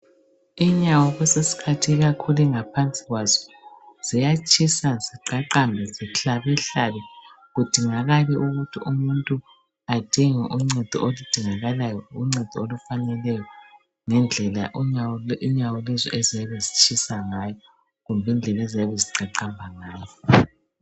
Inyawo kwesinye isikhathi ikakhulu ingaphansi kwazo, ziyatshisa, ziqaqambe, zihlabehlabe. Kudingakale ukuthi umuntu adinge uncedo oludingakalayo, uncedo olufaneleyo ngendlela inyawo lezo eziyabe zitshisa ngayo, lkumbe indlela eziyabe ziqaqamba ngayo.